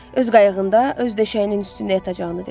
Öz qayığında, öz döşəyinin üstündə yatacağını dedi.